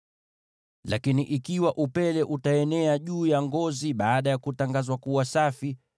Lakini ikiwa upele utaenea juu ya ngozi baada ya kutangazwa kuwa safi,